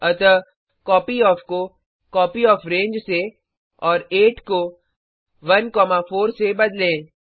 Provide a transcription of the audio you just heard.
अतः कॉपयॉफ को कॉपीयोफ्रेंज से और 8 को 1 4 से बदलें